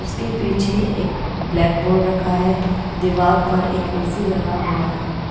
उसके पीछे एक ब्लैक बोर्ड रखा है दीवाल पर एक ए_सी लगा हुआ है।